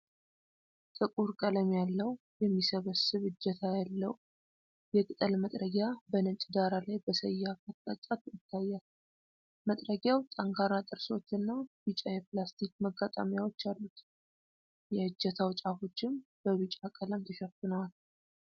ጥቁር ቀለም ያለው፣ የሚሰበሰብ እጀታ ያለው የቅጠል መጥረጊያ በነጭ ዳራ ላይ በሰያፍ አቅጣጫ ይታያል። መጥረጊያው ጠንካራ ጥርሶች እና ቢጫ የፕላስቲክ መጋጠሚያዎች አሉት። የእጀታው ጫፎችም በቢጫ ቀለም ተሸፍነዋል።